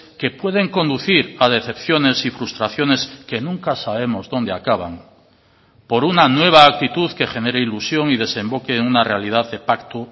que pueden conducir a decepciones y frustraciones que nunca sabemos dónde acaban por una nueva actitud que genere ilusión y desemboque en una realidad de pacto